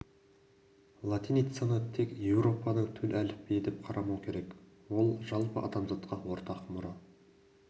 латиницаны тек еуропаның төл әліпбиі деп қарамау керек ол жалпы адамзатқа ортақ мұра